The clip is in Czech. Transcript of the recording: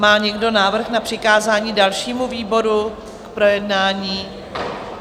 Má někdo návrh na přikázání dalšímu výboru k projednání?